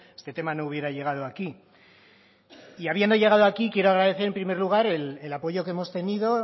este tema no hubiera llegado aquí y habiendo llegado aquí quiero agradecer en primer lugar el apoyo que hemos tenido